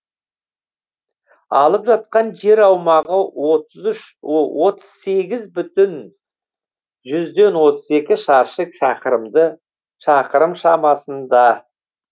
алып жатқан жер аумағы отыз үш отыз сегіз бүтін жүзден отыз екі шаршы шақырым шамасында